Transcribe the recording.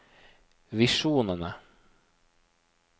visjonene